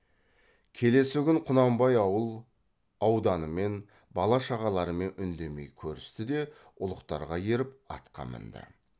келесі күн құнанбай ауыл ауданымен бала шағаларымен үндемей көрісті де ұлықтарға еріп атқа мінді